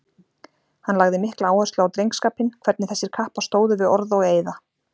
Hann lagði mikla áherslu á drengskapinn, hvernig þessir kappar stóðu við orð og eiða.